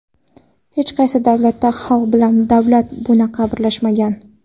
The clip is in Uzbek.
Hech qaysi davlatda xalq bilan davlat bunaqa birlashmagan.